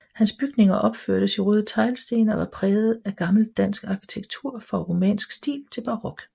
Hans bygninger opførtes i røde teglsten og var præget af gammel dansk arkitektur fra romansk stil til barok